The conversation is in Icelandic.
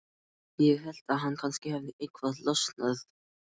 Ég hélt að kannski hefði eitthvað losnað.